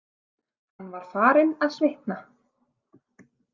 Hann var farinn að svitna.